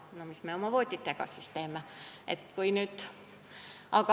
Mida me sel juhul oma vooditega teeme?